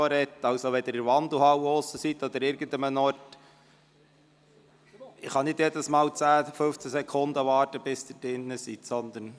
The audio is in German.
Wenn Sie sich in der Wandelhalle oder sonst wo befinden, kann ich nicht immer 10 oder 15 Sekunden warten, bis Sie wieder zurück im Saal sind.